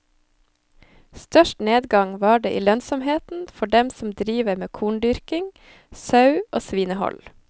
Størst nedgang var det i lønnsomheten for dem som driver med korndyrking, sau og svinehold.